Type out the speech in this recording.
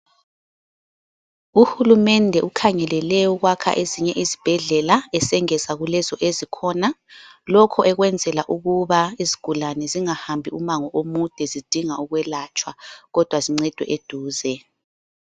Uhulumende ukhangelele ukwakha ezinye izibhedlela esengeza kulezo ezikhona. Lokho ekwenzela ukuba izigulane zingahambi umango omude zidinga ukwelatshwa, kodwa zincedwe eduze.